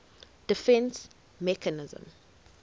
defence mechanism